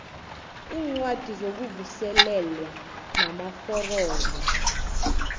iincwadi zokuvuselelwa namaforomo